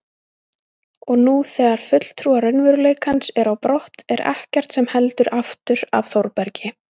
Og nú þegar fulltrúar raunveruleikans eru á brott er ekkert sem heldur aftur af Þórbergi.